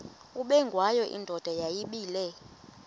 ubengwayo indoda yayibile